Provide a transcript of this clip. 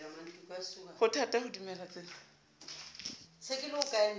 ho thata ho dumela tsena